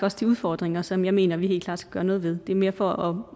også de udfordringer som jeg mener vi helt klart skal gøre noget ved det er mere for